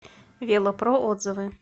вело про отзывы